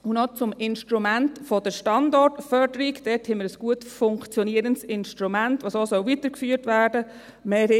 Noch zum Instrument der Standortförderung: Da haben wir ein gut funktionierendes Instrument, das auch so weitergeführt werden soll.